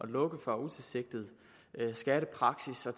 lukket for utilsigtet skattepraksis og